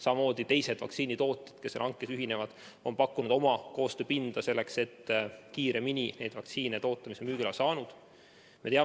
Samamoodi on teised vaktsiinitootjad, kes hankega ühinevad, pakkunud oma koostööpinda, et vaktsiine, mis on müügiloa saanud, kiiremini toota.